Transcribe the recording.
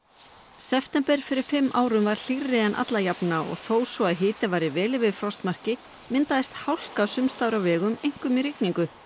september fyrir fimm árum var hlýrri en alla jafna og þó svo að hiti væri vel yfir frostmarki myndaðist hálka sums staðar á vegum einkum í rigningu